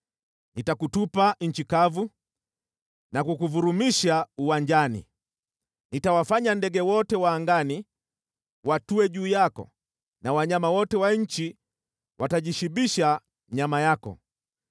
Nitakutupa nchi kavu na kukuvurumisha uwanjani. Nitawafanya ndege wote wa angani watue juu yako na wanyama wote wa nchi watajishibisha nyama yako.